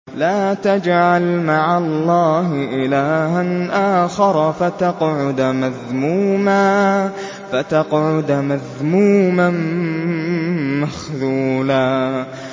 لَّا تَجْعَلْ مَعَ اللَّهِ إِلَٰهًا آخَرَ فَتَقْعُدَ مَذْمُومًا مَّخْذُولًا